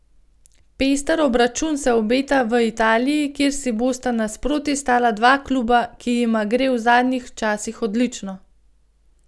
Pester obračun se obeta v Italiji, kjer si bosta nasproti stala dva kluba, ki jima gre v zadnjih časih odlično.